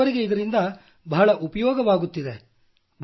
ಬಡವರಿಗೆ ಇದರಿಂದ ಬಹಳ ಉಪಯೋಗವಾಗುತ್ತಿದೆ